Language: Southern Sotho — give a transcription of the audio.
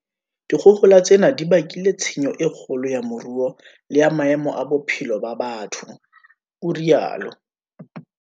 "Dikgohola tsena di bakile tshenyo e kgolo ya moruo le ya maemo a bophelo ba batho," o rialo